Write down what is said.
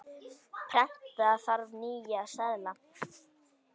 Prenta þarf nýja seðla.